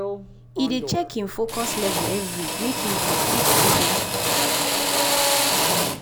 he dey check him focus level every make him for fit do better